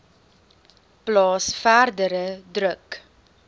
plaas verdere druk